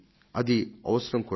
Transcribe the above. అది అవసరం కూడా